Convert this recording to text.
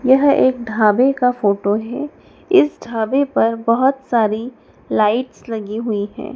यह एक ढाबे का फोटो है इस ढाबे पर बहोत सारी लाइट्स लगी हुई हैं।